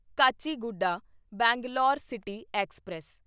Kacheguda Bangalore city express